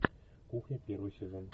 кухня первый сезон